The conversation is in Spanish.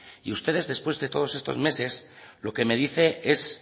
y ustedes después de todos estos meses lo que me dice es